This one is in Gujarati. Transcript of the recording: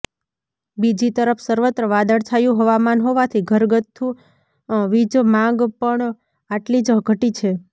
બીજી તરફ સર્વત્ર વાદળછાયું હવામાન હોવાથી ઘરગથ્થુ વીજ માગ પણ આટલી જ ઘટી છે